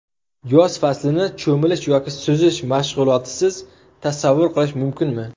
Yoz faslini cho‘milish yoki suzish mashg‘ulotisiz tasavvur qilish mumkinmi?